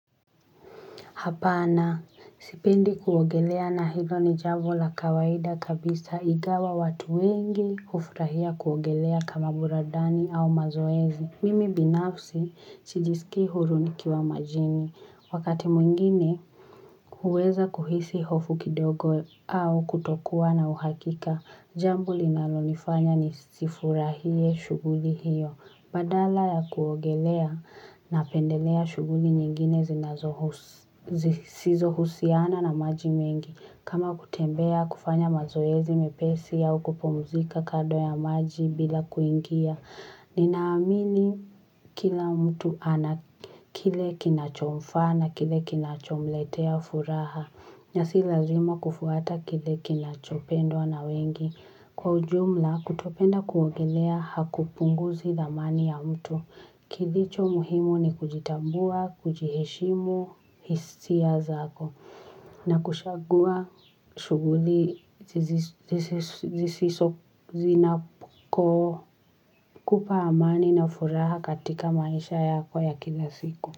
Hapana sipendi kuogelea na hilo ni jambo la kawaida kabisa, ingawa watu wengi hufurahia kuogelea kama buradani au mazoezi mimi binafsi, sijisikii huru nikiwa majini. Wakati mwingine, huweza kuhisi hofu kidogo au kutokuwa na uhakika. Jambo linalonifanya nisifurahie shughuli hiyo. Badala ya kuogelea napendelea shughuli nyingine zinazohusu, zisizohusiana na maji mengi. Kama kutembea kufanya mazoezi mepesi au kupumzika kando ya maji bila kuingia. Nina amini kila mtu ana kile kinachomfaa na kile kinachomletea furaha. Nasi lazima kufuata kile kinachopendwa na wengi. Kwa ujumla kutopenda kuogelea hakupunguzi dhamani ya mtu. Kilicho muhimu ni kujitambua, kujiheshimu hisia zako na kushagua shughuli zisizo zina kupa amani na furaha katika maisha yako ya kila siku.